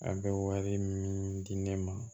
A bɛ wari min di ne ma